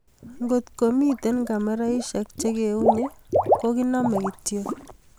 Kotko mito Kameraishek che keunye ko kinamei kityo